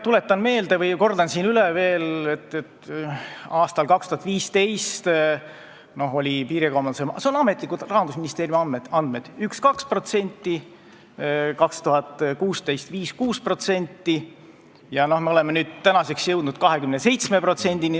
Tuletan meelde või kordan üle, et aastal 2015 oli piirikaubandus – need on Rahandusministeeriumi ametlikud andmed – 1–2%, 2016. aastal 5–6% ja tänaseks me oleme jõudnud 27%-ni.